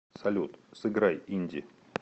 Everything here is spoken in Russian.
салют сыграй инди